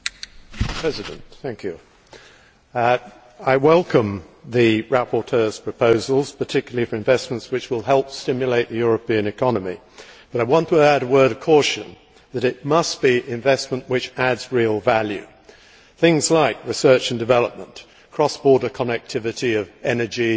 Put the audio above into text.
Mr President, I welcome the rapporteur's proposals, particularly for investments that will help stimulate the European economy, but I want to add a word of caution that it must be investment which adds real value. Things like research and development, cross border connectivity of energy